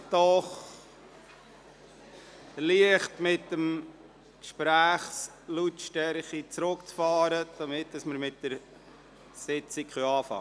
Ich bitte Sie, die Gesprächslautstärke etwas zurückzufahren, damit wir mit der Sitzung beginnen können.